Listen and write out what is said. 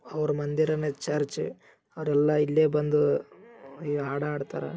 ಅವ್ರ್ ಮಂದಿರನಾ ಚರ್ಚ್ ಅವ್ರೆಲ್ಲಾ ಇಲ್ಲೆ ಬಂದು ಹಾಡ್ ಹಾಡ್ತರ .